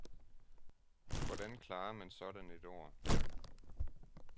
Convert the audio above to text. Hvordan klarer man sådan et år.